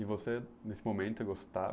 E você, nesse momento, gostava?